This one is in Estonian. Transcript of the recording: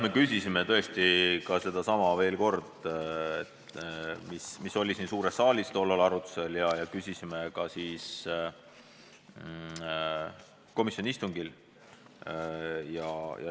Me küsisime tõesti komisjonis ka seda veel kord, kuigi see oli siin suures saalis enne arutusel.